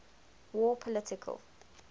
war political